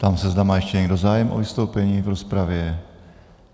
Ptám se, zda má ještě někdo zájem o vystoupení v rozpravě.